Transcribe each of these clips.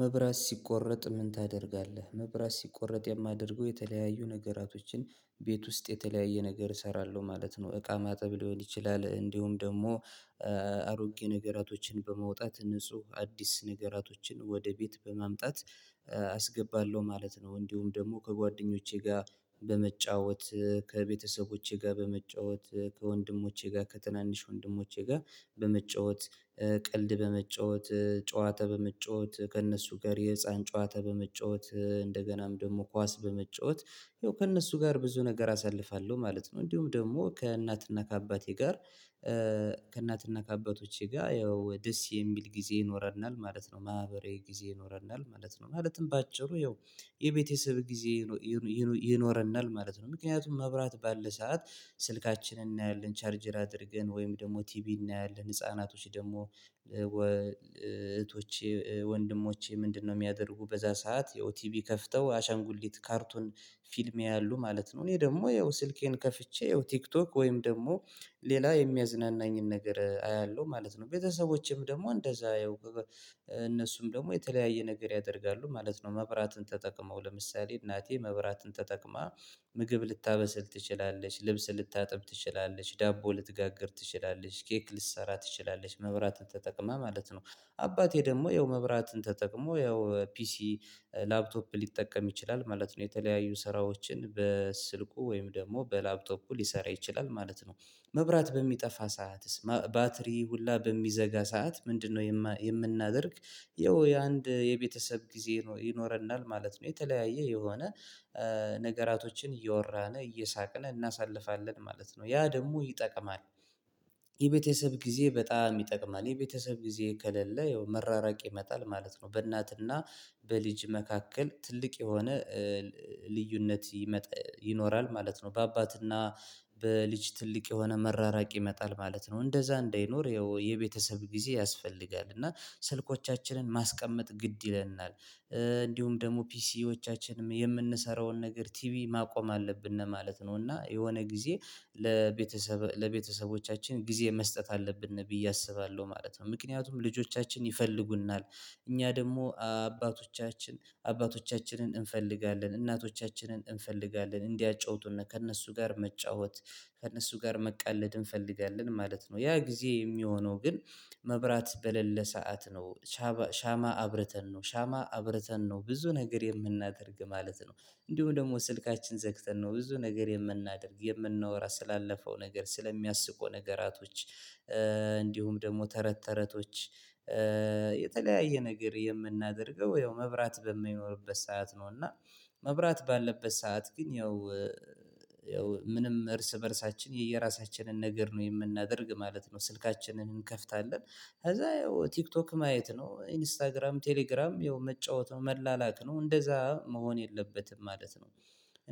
መብራት ሲቆረጥ ምን ታደርጋለህ? መብራት ሲቆረጥ የማደርገው የተለያዩ ነገራቶችን ቤት ውስጥ የተለያየ ነገር እሰራለሁ ማለት ነው። እቃ ማጠብ ሊሆን ይችላል እንዲሁም ደግሞ አሮጌ ነገራቶችን በመውጣት ንጹህ አዲስ ነገራቶችን ወደ ቤት በማምጣት አስገባለሁ ማለት ነው። እንዲሁም ደግሞ ከጓደኞቼ ጋር በመጫወት ከቤተሰቦቼ ጋር በመጫወት ከወንድሞቼ ጋር ከትናንሽ ወንድሞቼ ጋር በመጫወት ቀልድ በመጫወት ጨዋታ በመጫወት ከእነሱ ጋር የህፃን ጨዋታ በመጫወት እንደገናም ደግሞ ኳስ በመጫወት ከእነሱ ጋር ብዙ ነገር አሳልፋለሁ ማለት ነው። እንዲሁም ደግሞ ከእናትና ከአባቴ ጋር ከእናትና ከአባቶቼ ጋር ያው ደስ የሚል ጊዜ ይኖረናል ማለት ነው። ማህበራዊ ጊዜ ይኖረናል ማለት ነው ማለትም በአጭሩ ያው የቤተሰብ ጊዜ ይኖረናል ማለት ነው። ምክንያቱም መብራት ባለ ሰዓት ስልካችንን እናያለን ቻርጀር አድርገን ወይም ደግሞ ቲቪ እናያለን። ህፃናቶች ደግሞ እህቶቼ ወንድሞቼ ምንድነው? የሚያደርጉ በዛ ሰዓት ያው ቲቪ ከፍተው አሻንጉሊት ካርቱን ፊልም ያያሉ ማለት ነው። እኔ ደግሞ ያው ስልኬን ከፍቼ ያው ቲክቶክ ወይም ደግሞ ሌላ የሚያዝናናኝን ነገር አያለሁ ማለት ነው። ቤተሰቦቼም ደግሞ እንደዛ እነሱም ደግሞ የተለያየ ነገር ያደርጋሉ ማለት ነው። መብራትን ተጠቅመው ለምሳሌ እናቴ መብራትን ተጠቅማ ምግብ ልታበስል ትችላለች ልብስ ልታጥብ ትችላለች ዳቦ ልትጋግር ትችላለች ኬክ ልትሰራ ትችላለች መብራትን ተጠቅማ ማለት ነው። አባቴ ደግሞ ያው መብራትን ተጠቅሞ ያው ፒሲ ላፕቶፕ ሊጠቀም ይችላል ማለት ነው። የተለያዩ ስራዎችን በስልኩ ወይም ደግሞ በላፕቶፑ ሊሰራ ይችላል ማለት ነው። መብራት በሚጠፋ ሰዓትስ ባትሪ ሁላ በሚዘጋ ሰዓት ምንድነው? የምናደርግ ይኸው የአንድ የቤተሰብ ጊዜ ይኖረናል ማለት ነው። የተለያየ የሆነ ነገራቶችን እያወራን እየሳቅን እናሳልፋለን ማለት ነው። ያ ደግሞ ይጠቅማል የቤተሰብ ጊዜ በጣም ይጠቅማል የቤተሰብ ጊዜ ከሌለ ያው መራራቅ ይመጣል ማለት ነው። በእናትና በልጅ መካከል ትልቅ የሆነ ልዩነት ይኖራል ማለት ነው። በአባትና በልጅ ትልቅ የሆነ መራራቅ ይመጣል ማለት ነው። እንደዛ እንዳይኖር ያው የቤተሰብ ጊዜ ያስፈልጋል እና ስልኮቻችንን ማስቀመጥ ግድ ይለናል። እንዲሁም ደግሞ ፒሲዎቻችንም የምንሰራውን ነገር ቲቪ ማቆም አለብን ማለት ነው። እና የሆነ ጊዜ ለቤተሰብ ለቤተሰቦቻችን ጊዜ መስጠት አለብን ብዬ አስባለሁ ማለት ነው። ምክንያቱም ልጆቻችን ይፈልጉናል እኛ ደግሞ አባቶቻችን አባቶቻችንን እንፈልጋለን እናቶቻችንን እንፈልጋለን እንዲያጫውቱና ከእነሱ ጋር መጫወት ከእነሱ ጋር መቃለድ እንፈልጋለን ማለት ነው። ያ ጊዜ የሚሆነው ግን መብራት በሌለ ሰዓት ነው። ሻማ አብርተን ነው ሻማ አብርተን ነው ብዙ ነገር የምናደርግ ማለት ነው። እንዲሁ ደግሞ ስልካችን ዘግተን ነው ብዙ ነገር የምናደርግ የምናወራ ስላለፈው ነገር ስለሚያስቁ ነገራቶች እንዲሁም ደግሞ ተረት ተረቶች የተለያየ ነገር የምናደርገው ያው መብራት በማይኖርበት ሰዓት ነው። እና መብራት ባለበት ሰዓት ግን ያው ያው ምንም እርስ በእርሳችን የየራሳችንን ነገር ነው የምናደርግ ማለት ነው። ስልካችንን እንከፍታለን ከዛ ያው ቲክቶክ ማየት ነው ኢንስታግራም ቴሌግራም ያው መጫወት ነው መላላክ ነው እንደዛ መሆን የለበትም ማለት ነው።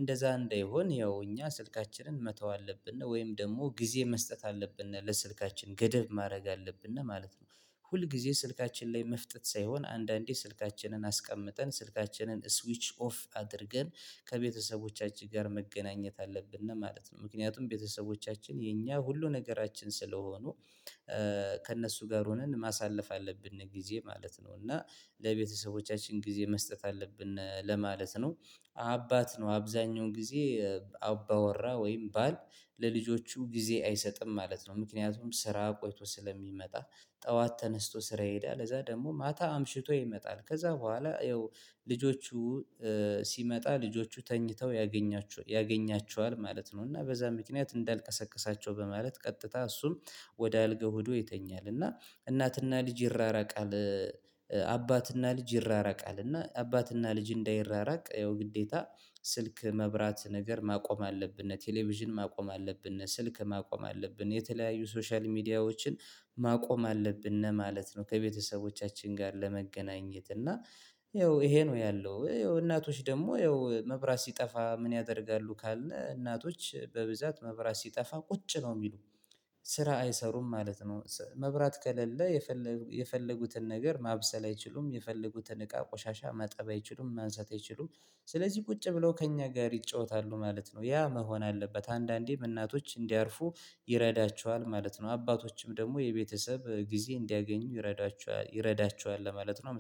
እንደዛ እንዳይሆን ያው እኛ ስልካችንን መተው አለብን ወይም ደግሞ ጊዜ መስጠት አለብን ለስልካችን ገደብ ማድረግ አለብን እና ማለት ነው። ሁል ጊዜ ስልካችን ላይ መፍጠጥ ሳይሆን አንዳንዴ ስልካችንን አስቀምጠን ስልካችንን ስዊች ኦፍ አድርገን ከቤተሰቦቻችን ጋር መገናኘት አለብን እና ማለት ነው። ምክንያቱም ቤተሰቦቻችን የኛ ሁሉ ነገራችን ስለሆኑ ከእነሱ ጋር ሆነን ማሳለፍ አለብን ጊዜ ማለት ነው። እና ለቤተሰቦቻችን ጊዜ መስጠት አለብን ለማለት ነው። አባት ነው አብዛኛውን ጊዜ አባወራ ወይም ባል ለልጆቹ ጊዜ አይሰጥም ማለት ነው። ምክንያቱም ስራ ቆይቶ ስለሚመጣ ጠዋት ተነስቶ ስራ ይሄዳል እዛ ደግሞ ማታ አምሽቶ ይመጣል ከዛ በኋላ ያው ልጆቹ ሲመጣ ልጆቹ ተኝተው ያገኛቸዋል ማለት ነው። እና በዛ ምክንያት እንዳልቀሰቀሳቸው በማለት ቀጥታ እሱም ወደ አልጋ ሆዶ ይተኛል እና እናትና ልጅ ይራራቃል። አባትና ልጅ ይራራቃል እና አባትና ልጅ እንዳይራራቅ ያው ግዴታ ስልክ መብራት ነገር ማቆም አለብን እነ ቴሌቪዥን ማቆም አለብን እነ ስልክ ማቆም አለብን የተለያዩ ሶሻል ሚዲያዎችን ማቆም አለብን ማለት ነው። ከቤተሰቦቻችን ጋር ለመገናኘት እና ይኸው ይሄ ነው ያለው ይኸው እናቶች ደግሞ ያው መብራት ሲጠፋ ምን ያደርጋሉ? ካለን እናቶች በብዛት መብራት ሲጠፋ ቁጭ ነው የሚሉ ስራ አይሰሩም ማለት ነው። መብራት ከሌለ የፈለገ የፈለጉትን ነገር ማብሰል አይችሉም የፈለጉትን እቃ ቆሻሻ ማጠብ አይችሉም ማንሳት አይችሉም። ስለዚህ ቁጭ ብለው ከእኛ ጋር ይጫወታሉ ማለት ነው። ያ መሆን አለበት አንዳንዴ እናቶች እንዲያርፉ ይረዳቸዋል ማለት ነው። አባቶችም ደግሞ የቤተሰብ ጊዜ እንዲያገኙ ይረዳቸዋል ይረዳቸዋል ለማለት ነው